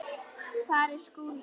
Hvar er Skúli?